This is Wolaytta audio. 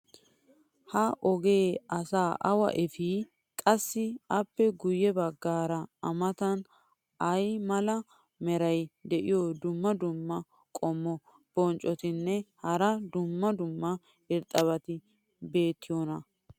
ha ogee asaa awa efii? qassi appe guye bagaara a matan ay mala meray diyo dumma dumma qommo bonccotinne hara dumma dumma irxxabati beetiyoonaa?